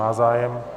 Má zájem.